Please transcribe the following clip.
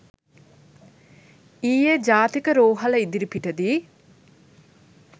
ඊයේජාතික රෝහල ඉදිරිපිට දී